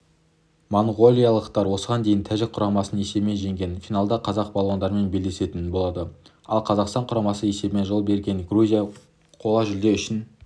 моңғолиялықтар осыған дейін тәжік құрамасын есебімен жеңген финалда қазақ балуандарымен белдесетін болады алқазақстан құрамасына есебімен жол берген грузия қола жүлде үшін